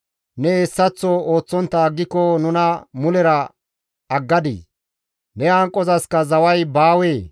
Ne hessaththo ooththontta aggiko nuna mulera aggadii? ne hanqozaska zaway baawee?